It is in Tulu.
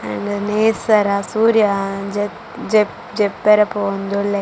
ನೇಸರ ಸೂರ್ಯ ಜ ಜ ಜಪ್ಪೆರೆ ಪೋವೊಂದುಲ್ಲೆ.